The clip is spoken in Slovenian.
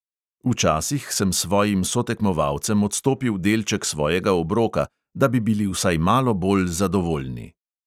Včasih sem svojim sotekmovalcem odstopil delček svojega obroka, da bi bili vsaj malo bolj zadovoljni.